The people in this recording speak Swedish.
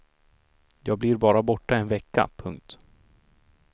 Jag blir bara borta en vecka. punkt